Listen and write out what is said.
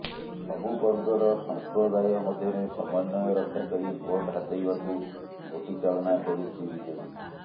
ସବୁ ବର୍ଗର ସମ୍ପ୍ରଦାୟ ମଧ୍ୟରେ ସମନ୍ୱୟ ରକ୍ଷା କରି ଭୋଟ୍ ହାତେଇବାକୁ ଗୋଟିଚାଳନା କରୁଛି ବିଜେଡି